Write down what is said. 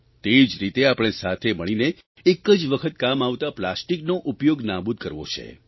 તે જ રીતે આપણે સાથે મળીને એક જ વખત કામ આવતા પ્લાસ્ટિકનો ઉપયોગ નાબૂદ કરવો છે